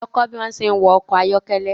Lọ kó bi wón se ń wa ọkọ̀ ayọ́kẹ́lẹ́